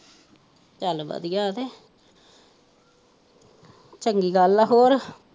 ਚੱਲ ਵਧੀਆ ਹੈ ਕੇ ਚੰਗੀ ਗੱਲ ਹੈ ਹੋਰ।